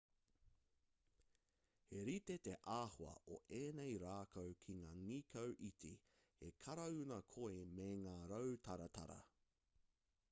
he rite te āhua o ēnei rākau ki ngā nīkau iti he karauna koi me ngā rau taratara